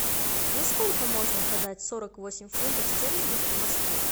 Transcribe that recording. за сколько можно продать сорок восемь фунтов стерлингов в москве